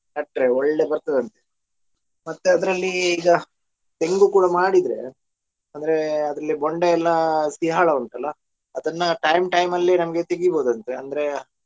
ನಟ್ಟ್ರೆ ಒಳ್ಳೆ ಬರ್ತದಂತೆ ಮತ್ತೆ ಅದ್ರಲ್ಲಿ ಈಗ ತೆಂಗು ಕೂಡ ಮಾಡಿದ್ರೆ ಅಂದ್ರೆ ಅದ್ರಲ್ಲಿ ಬೊಂಡ ಎಲ್ಲ ಸೀಯಾಳ ಉಂಟಲ್ಲ ಅದನ್ನ time time ಅಲ್ಲಿ ನಮಗೆ ತೆಗಿಬೋದಂತೆ ಅಂದ್ರೆ.